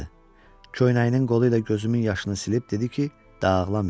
Köynəyinin qolu ilə gözümün yaşını silib dedi ki, dağlamayım.